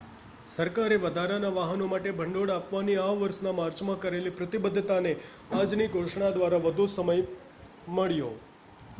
સરકારે વધારાના વાહનો માટે ભંડોળ આપવાની આ વર્ષના માર્ચમાં કરેલી પ્રતિબદ્ધતાને આજની ઘોષણા દ્વારા વધુ સમય મળ્યો